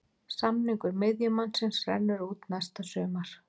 Samningur miðjumannsins rennur út næsta sumar.